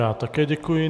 Já také děkuji.